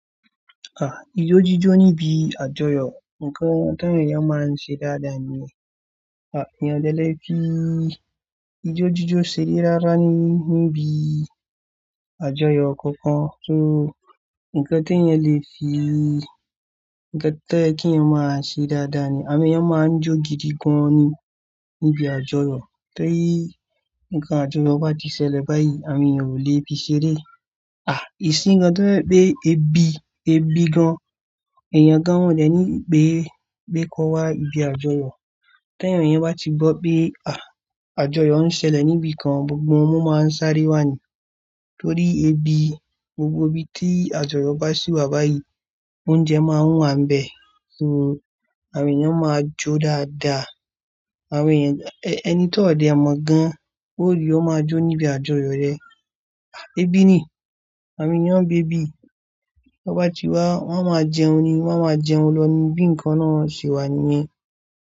Ijó jíjó níbi àjọyọ̀ ǹkan táwọn èèyàn máa ń ṣe dáadáa ni, èèyàn ò dẹ̀ lè fi ijó jíjó ṣeré rárá níbi àjọyọ̀ kọ̀ọ̀kan, ǹkan t'èèyàn lè fii ǹkan tó yẹ kí èèyàn máa ṣe dáadáa ní, àwọn èèyàn máa ń jó gidi gan ni níbi àjọyọ̀ torí ti ǹkan àjọyọ̀ bá ti ṣẹlẹ̀ báyìí, àwọn èèyàn ò lè fi ṣeré. Ah! Ìsín gan tó jẹ pé ebi, ebi gan èèyàn gan wọn de ní pé, pé kò wá ibi àjọyọ̀. Tẹ́yàn yẹn bá ti gbọ́ pé à, àjọyọ̀ ń ṣẹlẹ̀ níbi kan, gbogbo wọn máa ń sáré wá ni torí ebi, gbogbo ibi tí àjọyọ̀ bá sì wà báyìí, oúnjẹ máa ń wà nbẹ̀. So àwọn èèyàn máa jó dáadáa, àwọn èèyàn ẹni tó dé mọ̀ gan ó rí ó máa jó níbi àjọyọ̀ yẹn. Ebi ni, àwọn èèyàn ń bí ebi, bá ti wá, wọ́n máa jẹun ni, wọ́n máa jẹun lọ ní bi nǹkan náà ṣe wà níyẹn.